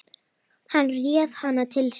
Hann réð hana til sín.